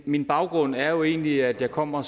min baggrund er jo egentlig at jeg kommer